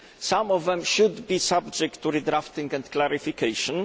Some of them should be subject to redrafting and clarification.